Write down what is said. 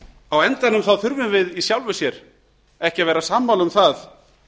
á endanum þurfum við í sjálfu sér ekki að vera sammála um það